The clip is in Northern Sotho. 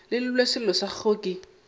llelwe sello sa gagwe ke